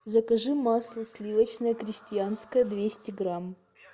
закажи масло сливочное крестьянское двести грамм